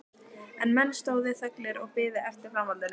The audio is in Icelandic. En menn stóðu þöglir og biðu eftir framhaldinu.